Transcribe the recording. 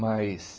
Mas,